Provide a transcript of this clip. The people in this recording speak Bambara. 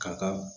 Ka kan